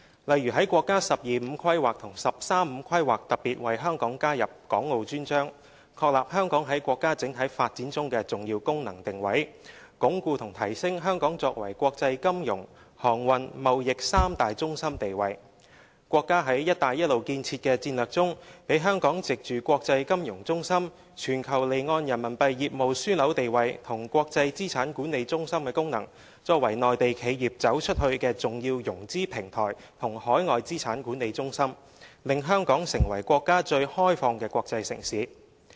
例如在國家"十二五"規劃及"十三五"規劃特別為香港加入《港澳專章》，確立香港在國家整體發展中的重要功能定位，鞏固和提升香港作為國際金融、航運、貿易三大中心地位；國家在"一帶一路"建設的戰略中，讓香港藉着國際金融中心、全球離岸人民幣業務樞紐地位和國際資產管理中心的功能，作為內地企業"走出去"的重要融資平台和海外資產管理中心，令香港成為國家最開放的國際城市。